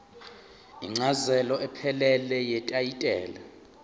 incazelo ephelele yetayitela